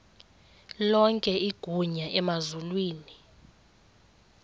lonke igunya emazulwini